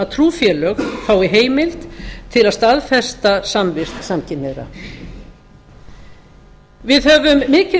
trúfélög fái heimild til að staðfesta samvist samkynhneigðra við höfum mikið verk að